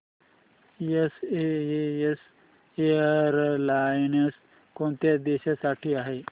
SAS airlines कोणत्या देशांसाठी आहे